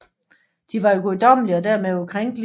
De var guddommelige og dermed ukrænkelige